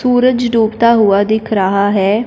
सूरज डूबता हुआ दिख रहा है।